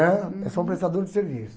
Né? Eu sou um prestador de serviço.